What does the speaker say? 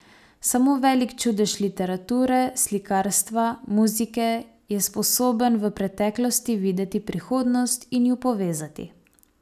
Samo velik čudež literature, slikarstva, muzike je sposoben v preteklosti videti prihodnost in ju povezati.